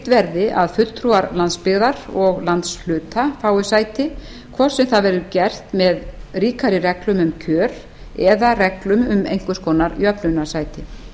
verði að fulltrúar landsbyggðar og landshluta fái sæti hvort sem það verður gert með ríkari reglum um kjör eða reglum um einhvers konar jöfnunarsæti